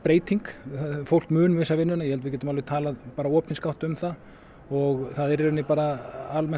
fólk mun missa vinnuna ég held við getum bara talað opinskátt um það og það er í rauninni bara almennt